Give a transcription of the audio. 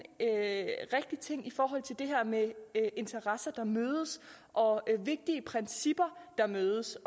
rigtig ting i forhold til det her med interesser der mødes og vigtige principper der mødes